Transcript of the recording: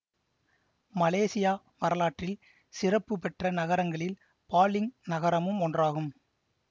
Malaysia வரலாற்றில் சிறப்பு பெற்ற நகரங்களில் பாலிங் நகரமும் ஒன்றாகும்